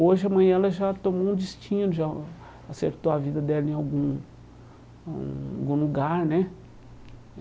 Hoje amanhã, ela já tomou um destino, já acertou a vida dela em algum hum algum lugar, né?